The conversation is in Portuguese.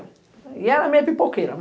E ela é meia pipoqueira.